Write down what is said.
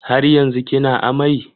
Har yanzu kina amai?